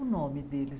O nome deles?